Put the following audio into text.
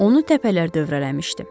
Onu təpələr dövrələmişdi.